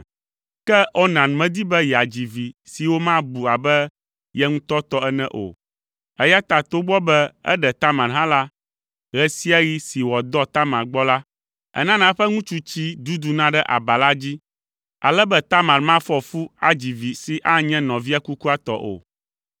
Ke Onan medi be yeadzi vi si womabu abe ye ŋutɔ tɔ ene o, eya ta togbɔ be eɖe Tamar hã la, ɣe sia ɣi si wòadɔ Tamar gbɔ la, enana eƒe ŋutsutsi la duduna ɖe aba la dzi, ale be Tamar mafɔ fu adzi vi si anye nɔvia kukua tɔ o.